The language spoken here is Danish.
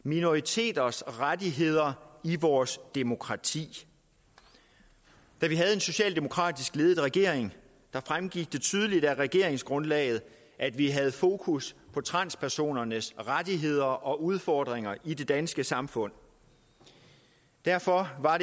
minoriteters rettigheder i vores demokrati da vi havde en socialdemokratisk ledet regering fremgik det tydeligt af regeringsgrundlaget at vi havde fokus på transpersonernes rettigheder og udfordringer i det danske samfund derfor var